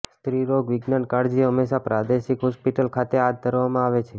સ્ત્રીરોગવિજ્ઞાન કાળજી હંમેશા પ્રાદેશિક હોસ્પિટલ ખાતે હાથ ધરવામાં આવે છે